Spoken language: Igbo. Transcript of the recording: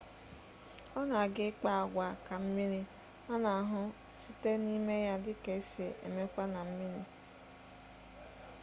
ona aga ikpa-agwa ka mmiri ana-ahu site nime ya dika esi emekwa na mmiri